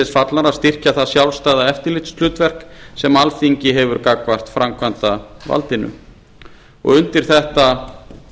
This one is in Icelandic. að styrkja það sjálfstæða eftirlitshlutverk sem alþingi hefur gagnvart framkvæmdarvaldinu undir þetta